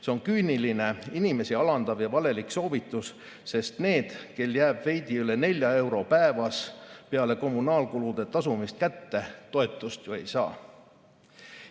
See on küüniline, inimesi alandav ja valelik soovitus, sest need, kel jääb veidi üle nelja euro päevas peale kommunaalkulude tasumist kätte, toetust ju ei saa.